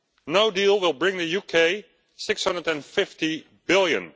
No deal will bring the UK EUR 650 billion.